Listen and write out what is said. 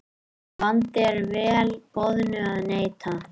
Vandi er vel boðnu að neita.